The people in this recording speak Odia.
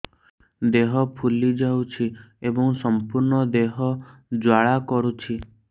ଦେହ ଫୁଲି ଯାଉଛି ଏବଂ ସମ୍ପୂର୍ଣ୍ଣ ଦେହ ଜ୍ୱାଳା କରୁଛି